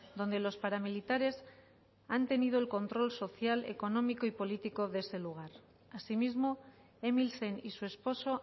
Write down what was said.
donde los paramilitares han tenido el control social económico y político de ese lugar asimismo emilsen y su esposo